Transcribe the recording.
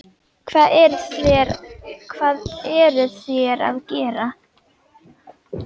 Hvað eruð þér að gera?